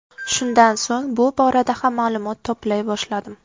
Shundan so‘ng bu borada ham ma’lumot to‘play boshladim.